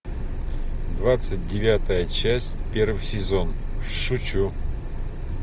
двадцать девятая часть первый сезон шучу